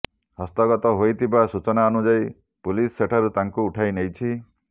ହସ୍ତଗତ ହୋଇଥିବା ସୂଚନା ଅନୁଯାୟୀ ପୁଲିସ ସେଠାରୁ ତାଙ୍କୁ ଉଠାଇ ନେଇଛି